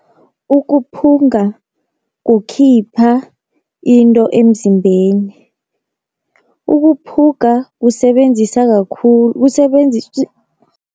Ukuphunga kukhipha into emzimbeni, ukuphuga kusebenzisa